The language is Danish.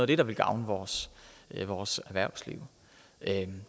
det der vil gavne vores vores erhvervsliv